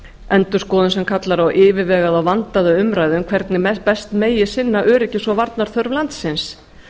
endurskoðun sem kallar á yfirvegaða og vandaða umræðu um hvernig best megi sinna öryggis og varnarþörf landsins